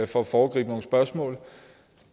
for at foregribe nogle spørgsmål